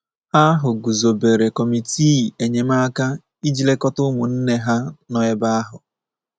Ha ahụ guzobere kọmitii enyemaka iji lekọta ụmụnne ha nọ ebe ahụ.